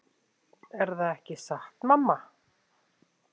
Er það ekki satt mamma?